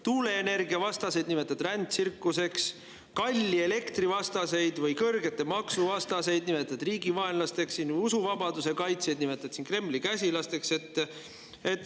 Tuuleenergiavastaseid nimetad rändtsirkuseks, kalli elektri vastaseid või kõrgete maksude vastaseid nimetad riigivaenlasteks, usuvabaduse kaitsjaid nimetad siin Kremli käsilasteks.